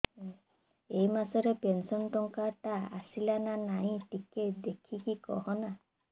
ଏ ମାସ ରେ ପେନସନ ଟଙ୍କା ଟା ଆସଲା ନା ନାଇଁ ଟିକେ ଦେଖିକି କହନା